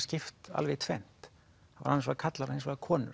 skipt alveg í tvennt annars vegar karlar og hins vegar konur